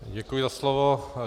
Děkuji za slovo.